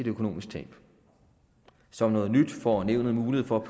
økonomisk tab som noget nyt får nævnet mulighed for